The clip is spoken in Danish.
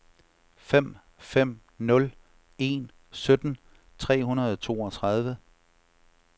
fem fem nul en sytten tre hundrede og toogtredive